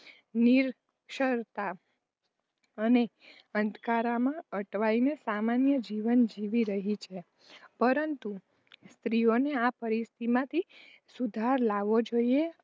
નિરક્ષરતા અને અંધકારમાં અટવાઈને સામાન્ય જીવન જીવી રહી છે. પરંતુ સ્ત્રીઓની આ પરિસ્થિતિમાં સુધારો લાવવો જોઈએ